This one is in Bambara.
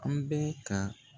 An bɛ ka